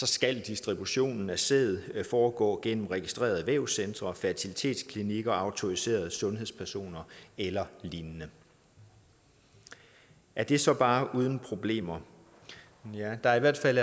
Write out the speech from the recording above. skal distributionen af sæd foregå gennem registrerede vævscentre fertilitetsklinikker og autoriserede sundhedspersoner eller lignende er det så bare uden problemer der er i hvert fald